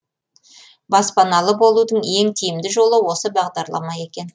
баспаналы болудың ең тиімді жолы осы бағдарлама екен